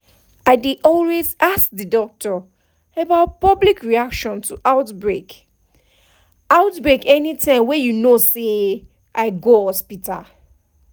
i dey always ask the doctor about public reaction to outbreak outbreak anytym wey you know say i go hospital